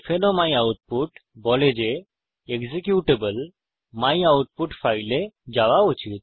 o my output বলে যে executable my output ফাইলে যাওয়া উচিত